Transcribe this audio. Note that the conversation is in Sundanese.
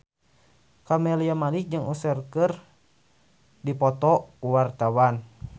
Camelia Malik jeung Usher keur dipoto ku wartawan